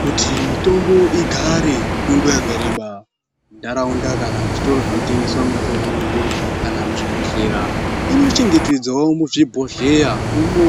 Kuti mitombo igare kwenguwa yakareba muntaraunda kana muzvitoro zvinotengeswa mitetombo kana muzvibhedhlera, inochengetedzwawo muzvibhozheya imo